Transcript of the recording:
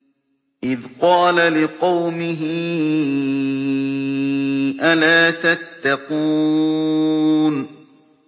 إِذْ قَالَ لِقَوْمِهِ أَلَا تَتَّقُونَ